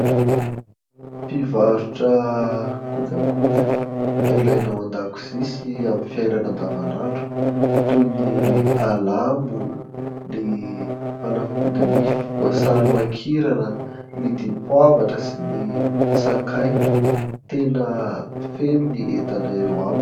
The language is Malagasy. Mpivarotra kojakoja ilaina ao an-dakozia sy amin'ny fiainana andavanandro toy ny alamo ny fanafody nify voasary makirana ny dipoavatra sy ny sakay tena feno ny entana eo aminy.